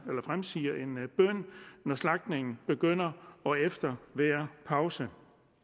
slagtningen begynder og efter hver pause